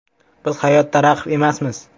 Biz hayotda raqib emasmiz.